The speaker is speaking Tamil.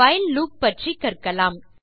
வைல் லூப் பற்றி கற்கலாம்